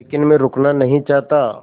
लेकिन मैं रुकना नहीं चाहता